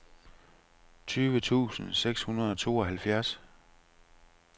tyve tusind seks hundrede og tooghalvfjerds